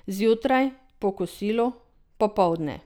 Zjutraj, po kosilu, popoldne.